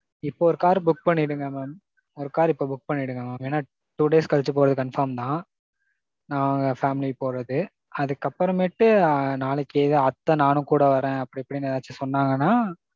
இப்போ ஒரு car book பண்ணிடுங்க mam. ஒரு கார் இப்போ book பண்ணிடுங்க mam. ஏனா two days கழிச்சு போறது confirm தான். நாங்க family போறது. அதுக்கு அப்பறமேட்டு நாளைக்கு அத்த நானும் கூட வர்றேன் அப்படி இப்படினு ஏதாச்சும் சொன்னாங்கன்னா.